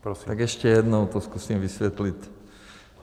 Tak ještě jednou to zkusím vysvětlit.